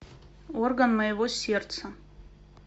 орган моего сердца